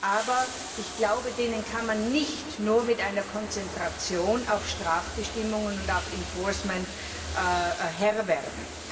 Aber ich glaube, denen kann man nicht nur mit einer Konzentration auf Strafbestimmungen und auf enforcement Herr werden.